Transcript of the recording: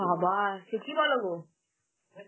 বাবা সে কি বলো গো?